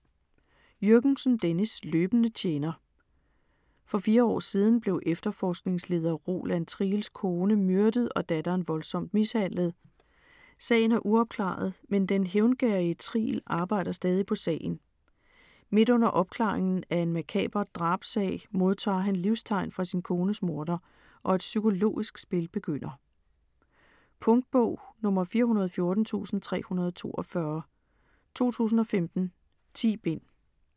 Jürgensen, Dennis: Løbende tjener For fire år siden blev efterforskningsleder Roland Triels kone myrdet og datteren voldsomt mishandlet. Sagen er uopklaret, men den hævngerrige Triel arbejder stadig på sagen. Midt under opklaringen af en makaber drabssag, modtager han livstegn fra sin kones morder, og et psykologisk spil begynder. Punktbog 414342 2015. 10 bind.